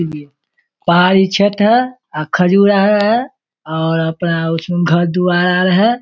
पहाड़ी क्षेत्र है अ खजूर आर है और अपना उसमें घर-द्वार आर है।